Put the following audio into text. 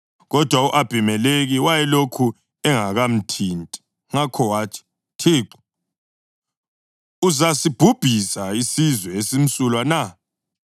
Kodwa u-Abhimelekhi wayelokhu engakamthinti, ngakho wathi, “Thixo, uzasibhubhisa isizwe esimsulwa na?